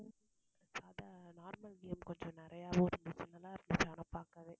சாதா normal game கொஞ்சம் நிறையவும் இருந்துச்சு நல்லா இருந்துச்சு ஆனா பாக்கவே